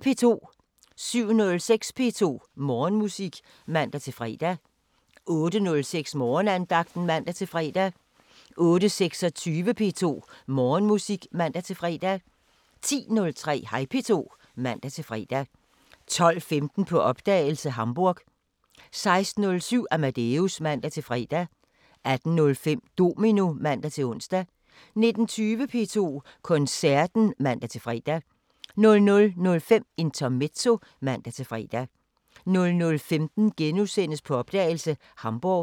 07:06: P2 Morgenmusik (man-fre) 08:06: Morgenandagten (man-fre) 08:26: P2 Morgenmusik (man-fre) 10:03: Hej P2 (man-fre) 12:15: På opdagelse – Hamburg 16:07: Amadeus (man-fre) 18:05: Domino (man-ons) 19:20: P2 Koncerten (man-fre) 00:05: Intermezzo (man-fre) 00:15: På opdagelse – Hamburg *